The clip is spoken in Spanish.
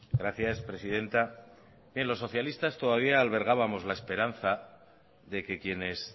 gracias presidenta los socialistas todavía albergábamos la esperanza de que quienes